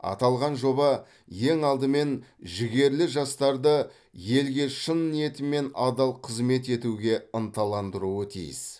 аталған жоба ең алдымен жігерлі жастарды елге шын ниетімен адал қызмет етуге ынталандыруы тиіс